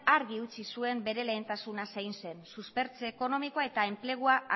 argi utzi zuen bere lehentasuna zein zen suspertze ekonomikoa eta enplegua